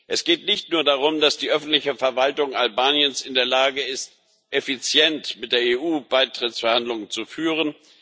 Es geht nicht nur darum, dass die öffentliche Verwaltung Albaniens in der Lage ist, effizient mit der EU Beitrittsverhandlungen zu führen.